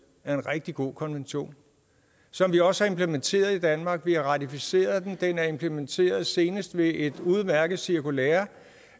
er en rigtig god konvention som vi også har implementeret i danmark vi har ratificeret den den er implementeret senest ved et udmærket cirkulære